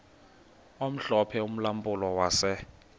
omhlophe ulampulo wase